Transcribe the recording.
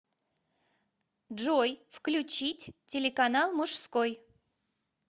джой включить телеканал мужской